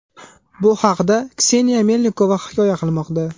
Bu haqda Kseniya Melnikova hikoya qilmoqda .